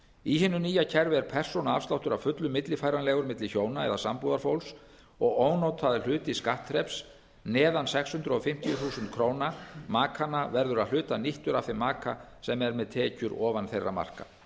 í hinu nýja kerfi er persónuafsláttur að fullu millifæranlegur milli hjóna eða sambúðarfólks og ónotaður hluti skattþreps neðan sex hundruð fimmtíu þúsund krónur markanna verður að hluta nýttur af þeim maka sem er með tekjur ofan þeirra marka